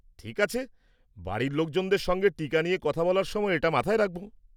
ঠিক আছে, বাড়ির লোকজনদের সঙ্গে টিকা নিয়ে কথা বলার সময় এটা মাথায় রাখব।